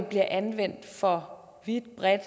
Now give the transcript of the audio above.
bliver anvendt for vidt og bredt